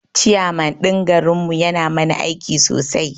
Chairman ɗin garin mu yana mana aiki sosai